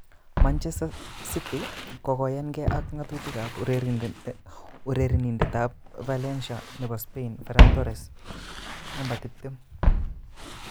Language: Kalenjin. (Evening Standard) Manchester City kokoyanke ak ngatutik ab urerenindet ab Valencia nebo Spain Ferran Torres,20.